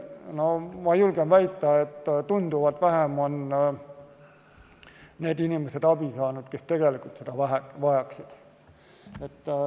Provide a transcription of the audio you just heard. Ma julgen väita, et tunduvalt vähem on neid inimesi, kes on abi saanud, kui neid, kes tegelikult seda vajaksid.